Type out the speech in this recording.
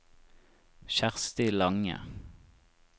Kjersti Lange